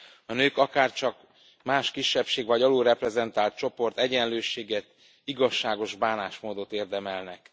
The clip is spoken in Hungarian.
A nők, akárcsak más kisebbség vagy alulreprezentált csoport, egyenlőséget, igazságos bánásmódot érdemelnek.